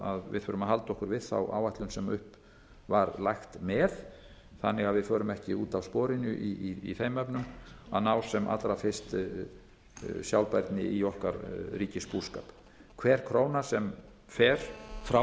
við þurfum að halda okkur við þá áætlun sem upp var lagt með þannig að við förum ekki út af sporinu í þeim efnum að ná sem allra fyrst sjálfbærni í okkar ríkisbúskap hver króna sem fer frá